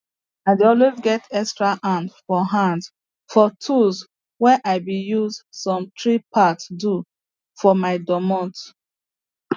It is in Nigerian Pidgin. i dey always get extra hand for hand for tools where i bin use some tree parts do for my dormot